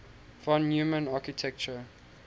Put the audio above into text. von neumann architecture